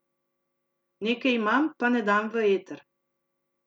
Nekaj imam, pa ne dam v eter.